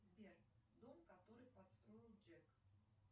сбер дом который построил джек